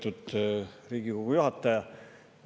Lugupeetud Riigikogu juhataja!